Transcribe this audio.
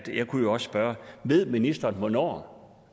jeg kunne jo også spørge ved ministeren hvornår